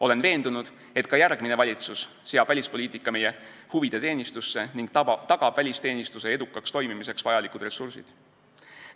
Olen veendunud, et ka järgmine valitsus seab välispoliitika meie huvide teenistusse ning tagab välisteenistuse edukaks toimimiseks vajalikud ressursid.